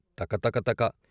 తక తక తక....